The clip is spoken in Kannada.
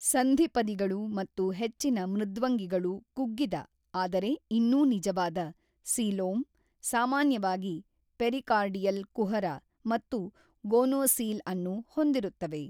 ಸಂಧಿಪದಿಗಳು ಮತ್ತು ಹೆಚ್ಚಿನ ಮೃದ್ವಂಗಿಗಳು ಕುಗ್ಗಿದ (ಆದರೆ ಇನ್ನೂ ನಿಜವಾದ) ಸೀಲೋಮ್ , ಸಾಮಾನ್ಯವಾಗಿ ಪೆರಿಕಾರ್ಡಿಯಲ್ ಕುಹರ ಮತ್ತು ಗೊನೊಸೀಲ್‌ ಅನ್ನು ಹೊಂದಿರುತ್ತವೆ.